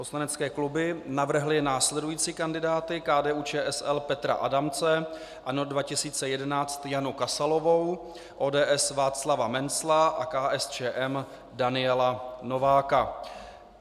Poslanecké kluby navrhly následující kandidáty: KDU-ČSL Petra Adamce, ANO 2011 Janu Kasalovou, ODS Václava Mencla a KSČM Daniela Nováka.